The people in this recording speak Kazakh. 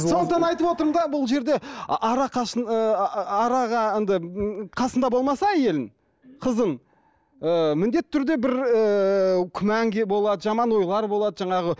сондықтан айтып отырмын да бұл жерде енді қасыңда болмаса әйелің қызың ы міндетті түрде бір ыыы күмән болады жаман ойлар болады жаңағы